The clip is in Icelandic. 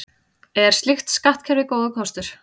Er slíkt skattkerfi góður kostur?